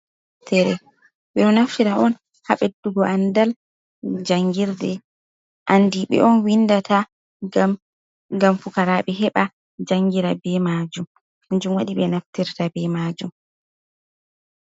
Deftere, ɓe ɗo naftira on ha beddugo andal jangirde, anɗi ɓe on windata gam fukaraɓe heɓa jangira be majum, kanjum wadi ɓe naftirta be majum.